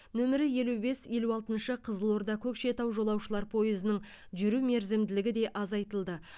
нөмірі елу бес елу алтыншы қызылорда көкшетау жолаушылар пойызының жүру мерзімділігі де азайтылды